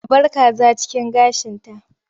A bar kaza cikin gashinta.